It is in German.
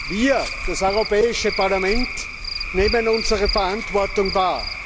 Wir das Europäische Parlament nehmen unsere Verantwortung wahr.